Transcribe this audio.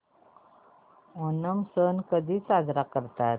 ओणम सण कधी साजरा करतात